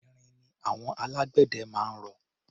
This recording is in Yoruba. Irin ni àwọn alágbẹ̀dẹ máa ń rọ.